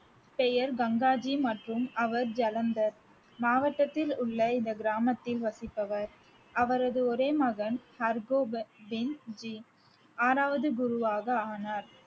பெயர் கங்காஜி மற்றும் அவர் ஜலந்தர் மாவட்டத்திலுள்ள இந்த கிராமத்தில் வசிப்பவர் அவரது ஒரே மகன் ஆறாவது குருவாக ஆனார்